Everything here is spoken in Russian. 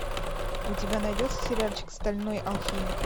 у тебя найдется сериальчик стальной алхимик